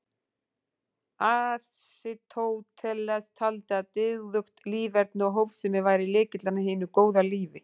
Aristóteles taldi að dygðugt líferni og hófsemi væri lykillinn að hinu góða lífi.